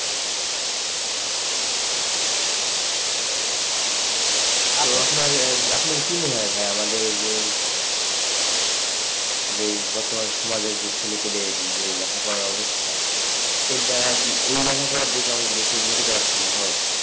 আপনার আপনার কি মনে হয় ভায়া আমাদের যে বর্তমান সমাজের যে ছেলেপেলে যে লেখা পড়ার অবস্থা এর দ্বারা কি ওই লেখাপড়ার দেখে কি আমাদের দেশে উন্নতি করা সম্ভব,